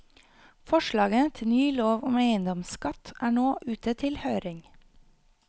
Forslaget til ny lov om eiendomsskatt er nå ute til høring.